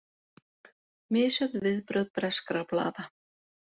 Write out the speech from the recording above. Misjöfn viðbrögð breskra blaða